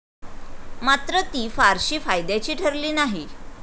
मात्र ती फारशी फायद्याची ठरली नाही.